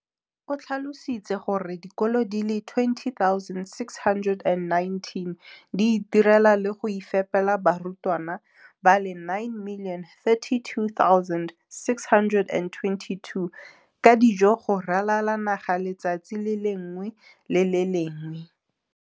O tlhalositse gore dikolo di le 20 619 di itirela le go iphepela barutwana ba le 9 032 622 ka dijo go ralala naga letsatsi le lengwe le le lengwe.